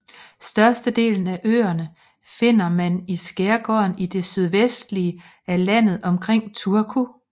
Størstedelen af øerne finder mand i skærgården i det sydvestlige af landet omkring Turku